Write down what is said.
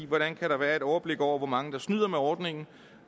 hvordan kan der være et overblik over hvor mange der snyder med ordningen